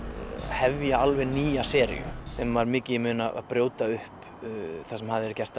hefja alveg nýja seríu þeim var mikið í mun að brjóta upp það sem hafði verið gert